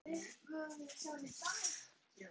Kvöldin urðu fleiri.